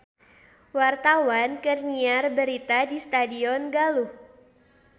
Wartawan keur nyiar berita di Stadion Galuh